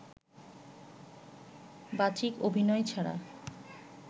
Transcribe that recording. বাচিক অভিনয় ছাড়া